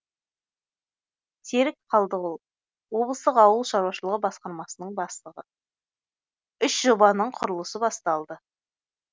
серік қалдығұл облыстық ауыл шаруашылығы басқармасының бастығы үш жобаның құрылысы басталды